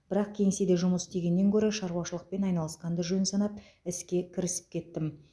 бірақ кеңседе жұмыс істегеннен гөрі шаруашылықпен айналысқанды жөн санап іске кірісіп кеттім